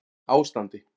Áslandi